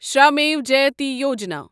Shramev Jayate Yojana